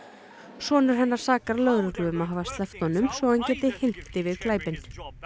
sonur hennar sakar lögreglu um að hafa sleppt honum svo hann geti hylmt yfir glæpinn í